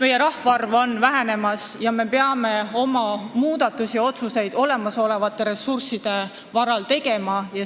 Meie rahvaarv väheneb ja me peame tegema muudatusi ja oma otsuseid olemasolevate ressursside varal.